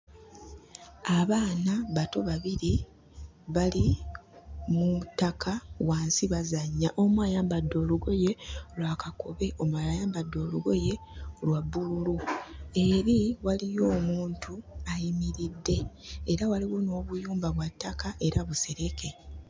Abaana bato babiri bali mu ttaka wansi bazannya. Omu ayambadde olugoye lwa kakobe omulala ayambadde olugoye lwa bbululu. Eri waliyo omuntu ayimiridde era waliyo n'obuyumba bwa ttaka era busereke.